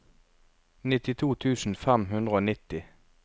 nittito tusen fem hundre og nitti